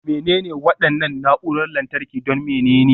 Menene waɗannan na'urorin lantarki don menene?